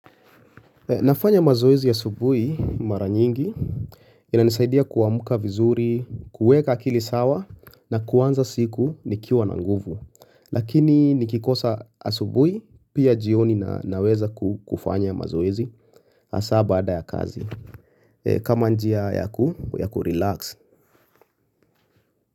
Nafanya mazoezi ya asubuhi mara nyingi ina nisaidia kuamka vizuri, kuweka akili sawa na kuanza siku nikiwa na nguvu. Lakini nikikosa asubuhi pia jioni na naweza kufanya mazoezi hasa ba ada ya kazi. Kama njia yaku ya kurelax.